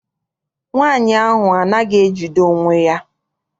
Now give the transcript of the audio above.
Nwaanyi ahụ anaghị ejide onwe ya.